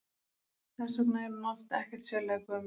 Þess vegna er hún oft ekkert sérlega gömul.